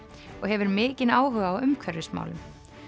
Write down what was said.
og hefur mikinn áhuga á umhverfismálum